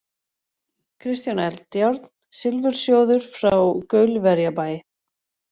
Kristján Eldjárn, Silfursjóður frá Gaulverjabæ